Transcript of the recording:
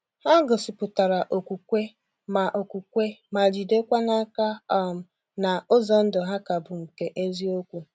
Ha gosipụtara okwukwe, ma okwukwe, ma jidekwa n’aka um na ụzọ ndụ ha ka bụ nke eziokwu.